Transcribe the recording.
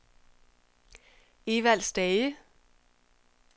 Evald Stage